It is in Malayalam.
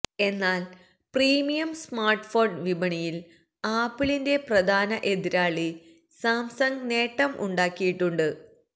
എന്നാല് പ്രീമിയം സ്മാര്ട്ട്ഫോണ് വിപണിയില് ആപ്പിളിന്റെ പ്രധാന എതിരാളി സാംസങ്ങ് നേട്ടം ഉണ്ടാക്കിയിട്ടുണ്ട്